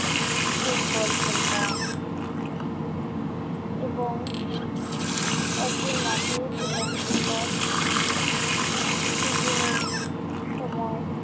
football খেলতাম এবং একদিন মাঠেই ছিলাম হঠাৎ টিফিনের সময়